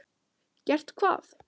Gert hvað?